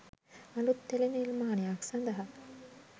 අලුත් ටෙලි නිර්මාණයක් සඳහා